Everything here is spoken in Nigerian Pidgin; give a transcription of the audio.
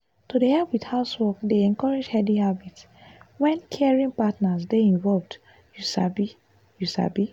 to dey help with housework dey encourage healthy habits when caring partners dey involved you sabi. you sabi.